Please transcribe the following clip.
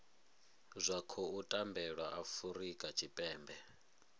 zwa khou tambelwa afurika tshipembe